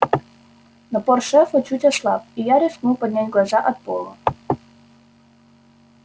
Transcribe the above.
напор шефа чуть ослаб и я рискнул поднять глаза от пола